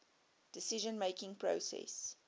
decision making process